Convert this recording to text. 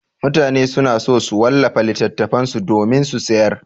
Mutane suna so su wallafa littattafan su domin su sayar.